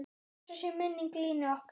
Blessuð sé minning Línu okkar.